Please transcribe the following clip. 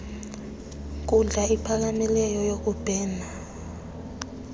nkundla iphakamileyo yokubhena